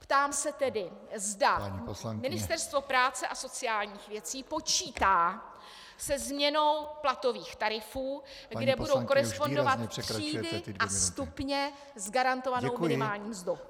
Ptám se tedy , zda Ministerstvo práce a sociálních věcí počítá se změnou platových tarifů kde budou korespondovat třídy a stupně s garantovanou minimální mzdou.